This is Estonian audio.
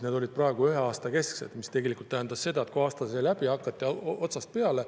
Need olid ühe aasta kesksed, mis tähendas, et kui aasta sai läbi, siis hakati otsast peale.